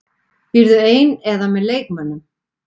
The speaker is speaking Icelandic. Býrðu ein eða með leikmönnum?